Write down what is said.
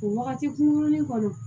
O wagati kunkurunin kɔnɔ